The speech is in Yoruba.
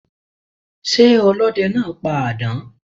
Sé ọlódenáa pa àdán?